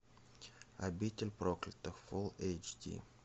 обитель проклятых фул эйч ди